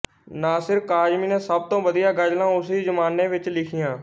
ਨਾਸਿਰ ਕਾਜ਼ਮੀ ਨੇ ਸਭ ਤੋਂ ਵਧੀਆ ਗਜਲਾਂ ਉਸੀ ਜ਼ਮਾਨੇ ਵਿੱਚ ਲਿਖੀਆਂ